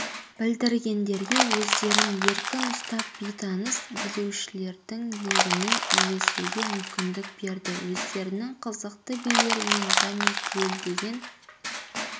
білдіргендерге өздерін еркін ұстап бейтаныс билеушілердің легіне ілесуге мүмкіндік берді өздерінің қызықты билерімен және гуілдеген